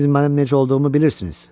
Siz mənim necə olduğumu bilirsiniz.